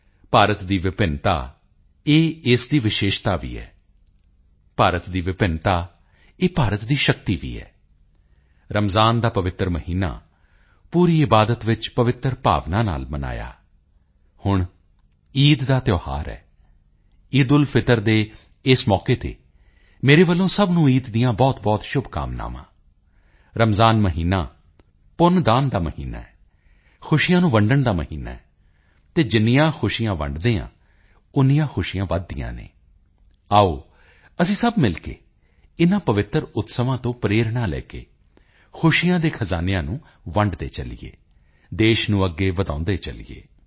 ਭਾਰਤ ਦੀ ਵਿਭਿੰਨਤਾ ਇਹ ਇਸ ਦੀ ਵਿਸ਼ੇਸ਼ਤਾ ਵੀ ਹੈ ਭਾਰਤ ਦੀ ਵਿਭਿੰਨਤਾ ਇਹ ਭਾਰਤ ਦੀ ਸ਼ਕਤੀ ਵੀ ਹੈ ਰਮਜ਼ਾਨ ਦਾ ਪਵਿੱਤਰ ਮਹੀਨਾ ਪੂਰੀ ਇਬਾਦਤ ਵਿੱਚ ਪਵਿੱਤਰ ਭਾਵਨਾ ਨਾਲ ਮਨਾਇਆ ਹੁਣ ਈਦ ਦਾ ਤਿਓਹਾਰ ਹੈ ਈਦ ਉਲ ਫਿਤਰ ਦੇ ਇਸ ਮੌਕੇ ਤੇ ਮੇਰੇ ਵੱਲੋਂ ਸਭ ਨੂੰ ਈਦ ਦੀਆਂ ਬਹੁਤਬਹੁਤ ਸ਼ੁਭਕਾਮਨਾਵਾਂ ਰਮਜ਼ਾਨ ਮਹੀਨਾ ਪੁੰਨਦਾਨ ਦਾ ਮਹੀਨਾ ਹੈ ਖੁਸ਼ੀਆਂ ਨੂੰ ਵੰਡਣ ਦਾ ਮਹੀਨਾ ਹੈ ਅਤੇ ਜਿੰਨੀਆਂ ਖੁਸ਼ੀਆਂ ਵੰਡਦੇ ਹਾਂ ਓਨੀਆਂ ਖੁਸ਼ੀਆਂ ਵੱਧਦੀਆਂ ਹਨ ਆਓ ਅਸੀਂ ਸਭ ਮਿਲ ਕੇ ਇਨਾਂ ਪਵਿੱਤਰ ਉਤਸਵਾਂ ਤੋਂ ਪ੍ਰੇਰਣਾ ਲੈ ਕੇ ਖੁਸ਼ੀਆਂ ਦੇ ਖਜ਼ਾਨਿਆਂ ਨੂੰ ਵੰਡਦੇ ਚੱਲੀਏ ਦੇਸ਼ ਨੂੰ ਅੱਗੇ ਵਧਾਉਂਦੇ ਚੱਲੀਏ